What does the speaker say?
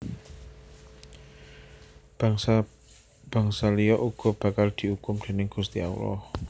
Bangsa bangsa liya uga bakal diukum déning Gusti Allah